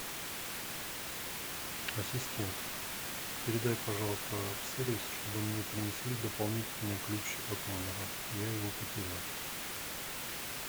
ассистент передай пожалуйста в сервис чтобы мне принесли дополнительный ключ от номера я его потерял